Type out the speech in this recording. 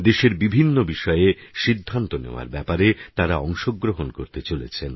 দেশের বিভিন্ন বিষয়ে সিদ্ধান্ত নেওয়ার ব্যাপারে তাঁরা অংশগ্রহণ করতে চলেছেন